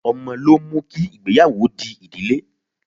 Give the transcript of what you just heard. Ọmọ ló mú kí ìgbéyàwó di ìdílé.